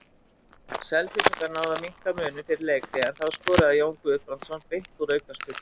Selfyssingar náðu að minnka muninn fyrir leikhlé en þá skoraði Jón Guðbrandsson beint úr aukaspyrnu.